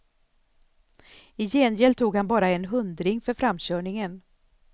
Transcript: I gengäld tog han bara en hundring för framkörningen.